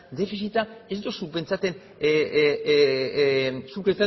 defizita ez duzu pentsatzen zuk